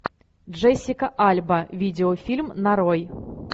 джессика альба видеофильм нарой